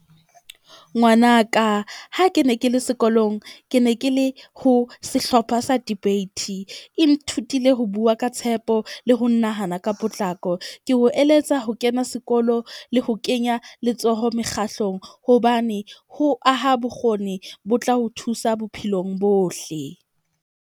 Ngwanaka ha ke ne ke le sekolong, ke ne ke le ho sehlopha sa debate. E nthutile ho bua ka tshepo, le ho nahana ka potlako. Ke ho eletsa, ho kena sekolo le ho kenya letsoho mekgahlong hobane ho aha bokgoni bo tla ho thusa bophelong bohle.